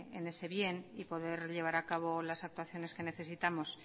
en ese bien y poder llevar a cabo las actuaciones que necesitamos